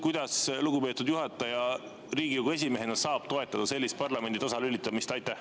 Kuidas lugupeetud juhataja Riigikogu esimehena saab toetada sellist parlamendi tasalülitamist?